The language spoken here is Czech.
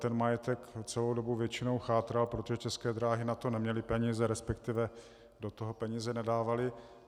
Ten majetek celou dobu většinou chátral, protože České dráhy na to neměly peníze, respektive do toho peníze nedávaly.